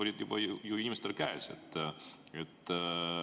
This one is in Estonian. Need vastused olid inimestel juba käes.